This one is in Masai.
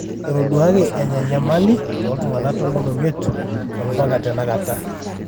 etoduaki enya nyamali tootung'anak tomon omiet ompaka tenakata.